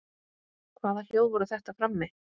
Hvaða hljóð voru þetta frammi?